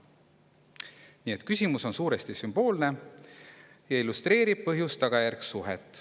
Nii et küsimus on suuresti sümboolne ja illustreerib põhjuse ja tagajärje suhet.